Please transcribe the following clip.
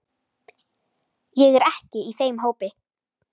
Ég er ekki í þeim hópi.